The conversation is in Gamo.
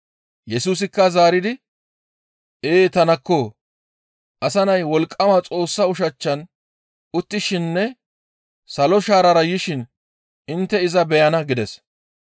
Yesusikka zaaridi, «Ee; tanakko! Asa Nay wolqqama Xoossa ushachchan uttishininne salo shaarara yishin intte iza beyana» gides.